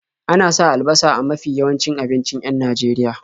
Ana sa albasa a mafi yawancin abincin 'yan Najeria.